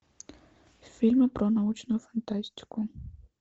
фильмы про научную фантастику